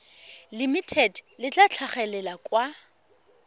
limited le tla tlhagelela kwa